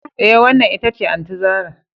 Eh, wannan ita ce Aunty zarah